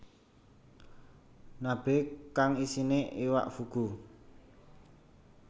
Nabe kang isine iwak fugu